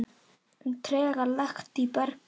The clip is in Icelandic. um trega lekt í bergi.